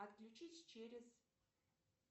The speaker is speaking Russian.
отключись через